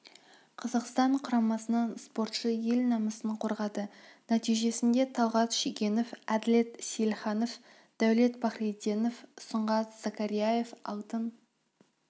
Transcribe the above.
қазақстан құрамасынан спортшы ел намысын қорғады нәтижесінде талғат шегенов әділет сейілханов дәулет пахриденов сұңғат закарияев алтын